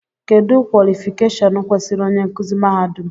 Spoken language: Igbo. Kedụ kwọlịfịkashọn kwesịrị onye nkuzi mahadum?